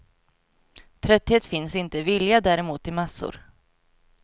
Trötthet finns inte, vilja däremot i massor.